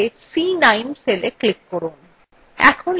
তাহলে c9 cellএ click করুন